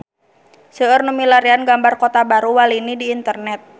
Seueur nu milarian gambar Kota Baru Walini di internet